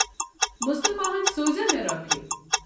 مُصطفیٰ ہَن سوزا مےٚ رۄپیہِ؟